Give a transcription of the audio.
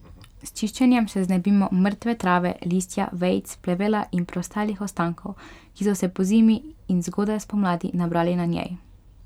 S čiščenjem se znebimo mrtve trave, listja, vejic, plevela in preostalih ostankov, ki so se pozimi in zgodaj spomladi nabrali na njej.